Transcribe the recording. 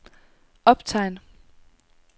optegn